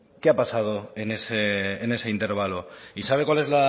qué ha pasado en ese intervalo y sabe cuál es